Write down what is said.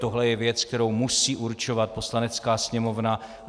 Tohle je věc, kterou musí určovat Poslanecká sněmovna.